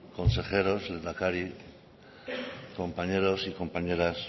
consejeros lehendakari compañeros y compañeras